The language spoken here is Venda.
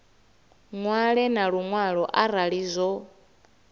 ṅwale na luṅwalo arali zwo